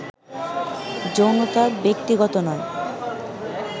যৌনতা ব্যক্তিগত নয়